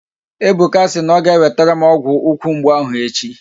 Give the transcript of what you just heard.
Ebuka si na ọ ga-ewetere m ọgwụ ukwu mgbu ahụ echi